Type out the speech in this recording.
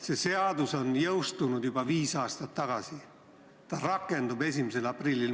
See seadus on jõustunud juba viis aastat tagasi, ta rakendub 1. aprillil.